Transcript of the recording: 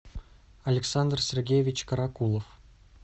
александр сергеевич каракулов